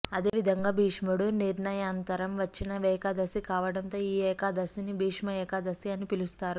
అదేవిధంగా భీష్ముడు నిర్యాణానంతరం వచ్చిన ఏకాదశి కావడంతో ఈ ఏకాదశిని భీష్మ ఏకాదశి అని పిలుస్తారు